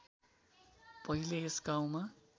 पहिले यस गाउँमा